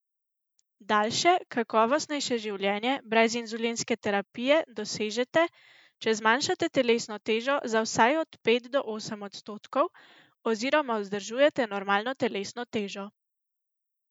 Daljše, kakovostnejše življenje brez inzulinske terapije dosežete, če zmanjšate telesno težo za vsaj od pet do osem odstotkov oziroma vzdržujete normalno telesno težo.